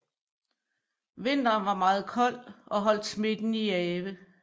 Vinteren var meget kold og holdt smitten i ave